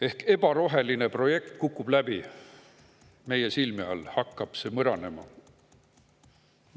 Ehk ebaroheline projekt kukub läbi, meie silme all hakkab see mõranema.